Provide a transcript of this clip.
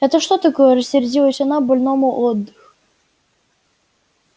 это что такое рассердилась она больному отдых